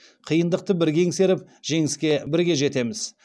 қиындықты бірге еңсеріп жеңіске бірге жетеміз